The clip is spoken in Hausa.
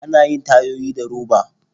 Ana yin tayoyi da roba.